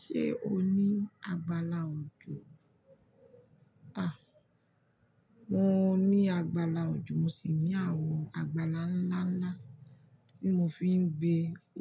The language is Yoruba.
Ṣé o ní agbála òjò? A! Mo ní agbála òjò, mo sì ní àwọn agbála ńlá ńlá tí mo fi ń gbé